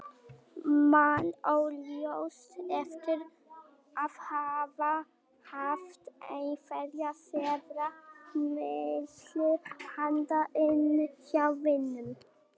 Man óljóst eftir að hafa haft einhverja seðla milli handa inni hjá vininum.